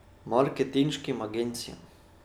Marketinškim agencijam.